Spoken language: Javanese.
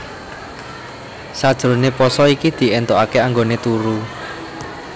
Sajroné pasa iki di éntokaké anggoné turu